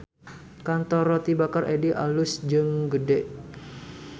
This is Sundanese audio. Kantor Roti Bakar Eddy alus jeung gede